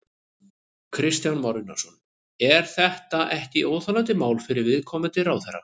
Kristján Már Unnarsson: Er þetta ekki óþolandi mál fyrir viðkomandi ráðherra?